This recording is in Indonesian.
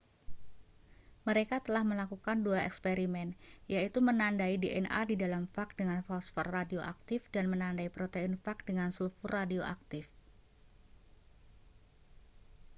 mereka telah melakukan dua eksperimen yaitu menandai dna di dalam fag dengan fosfor radioaktif dan menandai protein fag dengan sulfur radioaktif